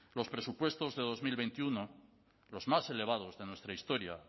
los presupuestos de dos mil veintiuno los más elevados de nuestra historia